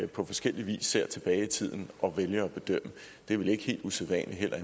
på forskellig vis ser tilbage i tiden og vælger at bedømme er vel ikke helt usædvanligt heller